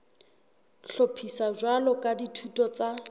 hlophiswa jwalo ka dithuto tsa